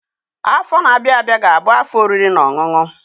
Afọ na-abịa abịa ga-abụ afọ oriri na ọṅụṅụ